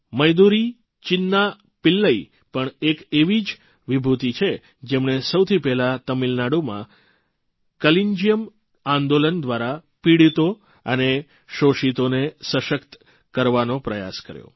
મદુરૈ ચિન્ના પિલ્લઇ પણ એક એવી જ વિભૂતિ છે જેમણે સૌથી પહેલાં તમિલનાડુમાં કલન્જિયમ આંદોલન દ્વારા પિડીતો અને શોષિતોને સશક્ત કરવાનો પ્રયાસ કર્યો